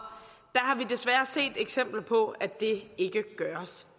desværre set eksempler på at det ikke gøres